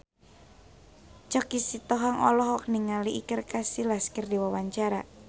Choky Sitohang olohok ningali Iker Casillas keur diwawancara